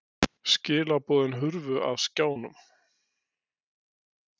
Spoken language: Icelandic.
Skilaboðin hurfu af skjánum.